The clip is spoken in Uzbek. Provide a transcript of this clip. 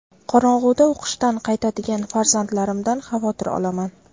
Qorong‘uda o‘qishdan qaytadigan farzandlarimdan xavotir olaman.